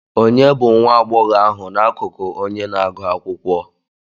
Ònye bụ nwa agbọghọ ahụ n'akụkụ onye na-agụ akwụkwọ?